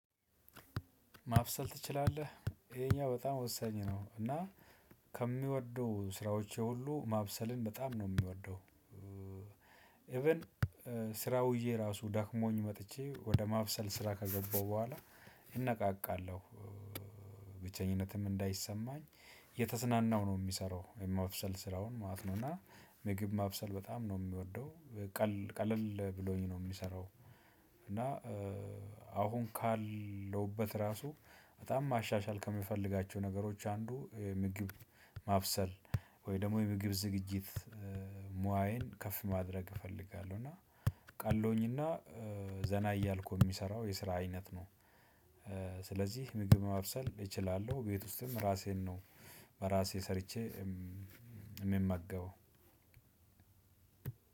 ማብሰል ትችላለህ ይሄኛው በጣም ወሳኝ ነው እና ከምወደው ስራዎቼ ሁሉ ማብሰልን በጣም ነው የምወደው። ኢቭን ስራ ውዬ የራሱ ደክሞኝ መጥቼ ወደ ማብሰል ስራ ከገባሁ በኋላ እነቃቃለሁ። ብቸኝነትም እንዳይሰማኝ እየተዝናናው ነው የምሰራው የማብሰል ስራውን ማለት ነው። እና ምግብ ማብሰል በጣም ነው የምወደው። ቀለል ቀለል ብሎኝ ነው የምሰራው። እና አሁን ካለሁበት ራሱ በጣም ማሻሻል ከምፈልጋቸው ነገሮች አንዱ ምግብ ማብሰል ወይ ደግሞ የምግብ ዝግጅት ሙያዬን ከፍ ማድረግ እፈልጋለሁ። እና ቀሎኝና ዘና እያልኩ የምሰራው የስራ አይነት ነው። ስለዚህ ምግብ ማብሰል እችላለሁ ቤት ውስጥም ራሴን ነው በራሴ ሰርቼ የምመገበው